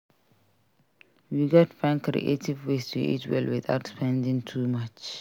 We gats find creative ways to eat well without spending too much.